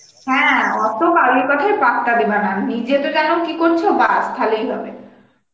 হ্যাঁ অত বাইরের কথায় পাত্তা দিবা না, নিজে তো যেন কি করছ বাস তাহলেই হবে